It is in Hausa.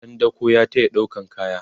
ɗan dako ya tayata ɗaukan kaya